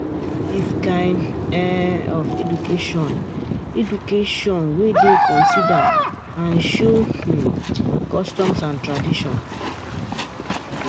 This kind um of education education um dey consider and show um customs and tradition